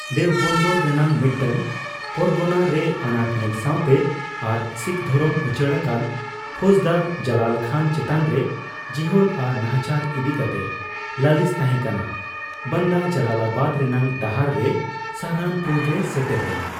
ᱫᱮᱣᱵᱚᱱᱫᱚᱨ ᱨᱮᱱᱟᱜ ᱢᱤᱫᱴᱟᱝ ᱯᱚᱨᱜᱚᱱᱟ ᱨᱮ ᱟᱱᱟᱴ ᱧᱮᱞ ᱥᱟᱣᱛᱮ ᱟᱨ ᱥᱤᱠᱷ ᱫᱷᱚᱨᱚᱢ ᱩᱪᱟᱹᱲ ᱟᱠᱟᱱ ᱯᱷᱳᱡᱽᱫᱟᱨ ᱡᱟᱞᱟᱞ ᱠᱷᱟᱱ ᱪᱮᱛᱟᱱ ᱨᱮ ᱡᱤᱦᱳᱞ ᱟᱨ ᱱᱟᱦᱟᱪᱟᱨ ᱤᱫᱤ ᱠᱟᱛᱮ ᱞᱟᱹᱞᱤᱥ ᱛᱟᱦᱮ, ᱵᱟᱱᱫᱟ ᱡᱟᱞᱟᱞᱟᱵᱟᱫᱽ ᱨᱮᱱᱟᱜ ᱰᱟᱦᱟᱨ ᱨᱮ ᱥᱟᱦᱟᱨᱟᱱᱯᱩᱨ ᱨᱮᱭ ᱥᱮᱴᱮᱨ ᱞᱮᱱᱟ ᱾